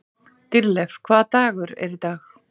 Dýrleif, hvaða dagur er í dag?